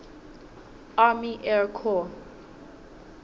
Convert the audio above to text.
army air corps